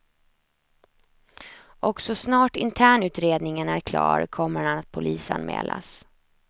Och så snart internutredningen är klar kommer han att polisanmälas.